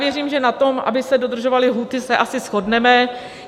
Věřím, že na tom, aby se dodržovaly lhůty, se asi shodneme.